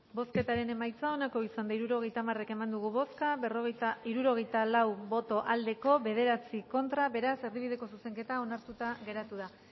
bozketaren emaitza onako izan da hirurogeita hamar eman dugu bozka hirurogeita hamairu eman dugu bozka hirurogeita lau boto aldekoa nueve contra beraz erdibideko zuzenketa onartuta geratu da